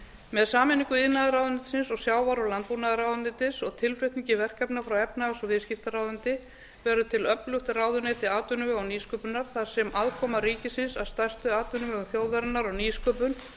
með sameiningu iðnaðarráðuneytisins og sjávarútvegs og landbúnaðarráðuneytis og tilflutningi verkefna frá efnahags og viðskiptaráðuneyti verður til öflugt ráðuneyti atvinnuvega og nýsköpunar þar sem aðkoma ríkisins að stærstu atvinnuvegum þjóðarinnar og nýsköpun